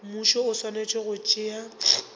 mmušo o swanetše go tšea